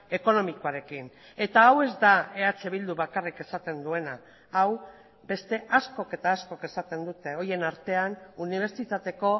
ekonomikoarekin eta hau ez da eh bildu bakarrik esaten duena hau beste askok eta askok esaten dute horien artean unibertsitateko